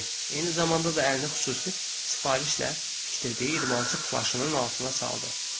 Eyni zamanda da əlində xüsusi sifarişlə tikdirdiyi idmançı plaşının altına saldı.